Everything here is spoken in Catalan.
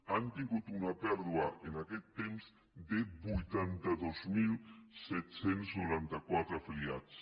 han tingut una pèrdua en aquest temps de vuitanta dos mil set cents i noranta quatre afiliats